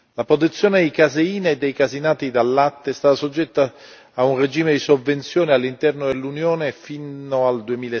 La produzione di caseine e caseinati dal latte è stata soggetta a un regime di sovvenzioni all'interno dell'Unione fino al